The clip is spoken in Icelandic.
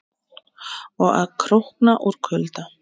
Og að krókna úr kulda.